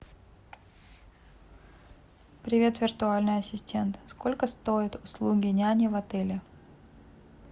привет виртуальный ассистент сколько стоят услуги няни в отеле